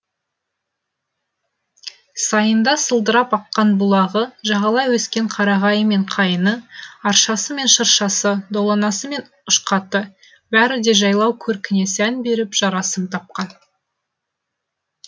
сайында сылдырап аққан бұлағы жағалай өскен қарағайы мен қайыңы аршасы мен шыршасы доланасы мен ұшқаты бәрі де жайлау көркіне сән беріп жарасым тапқан